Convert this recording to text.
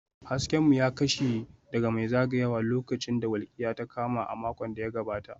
Hasken mu ya kashe daga mai zagayawa lokacin da walƙiya ta kama a makon da ya gabata